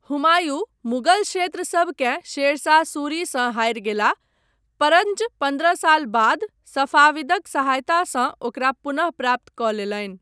हुमायूँ मुगल क्षेत्रसभकेँ शेर शाह सूरीसँ हारि गेलाह, परञ्च पन्द्रह साल बाद सफाविदक सहायतासँ ओकरा पुनः प्राप्त कऽ लेलनि।